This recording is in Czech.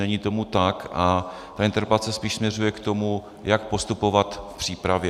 Není tomu tak a ta interpelace spíš směřuje k tomu, jak postupovat v přípravě.